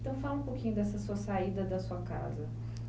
Então, fala um pouquinho dessa sua saída da sua casa.